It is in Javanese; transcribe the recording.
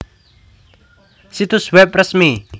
Situs web resmi